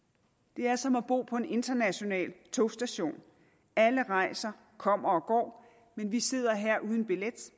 det er som at bo på en international togstation alle rejser kommer og går men vi sidder her uden billet